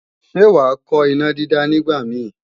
Ṣé wàá kọ́ ìnádídá nígbàmíì?